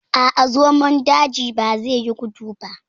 A'a, zomon daji bazai yi gudu ba.